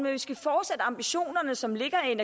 vi skal fortsætte ambitionerne som ligger